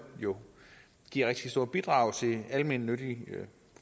jo giver rigtig store bidrag til almennyttige